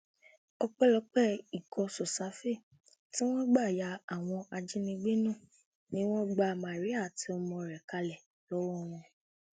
lọọyà bàbá ìjẹsà ti sọrọ o ò ní òṣèré um náà àti prince tí um jọ ṣe wọléwọde rí